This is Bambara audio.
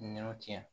Ɲinanw tiɲɛ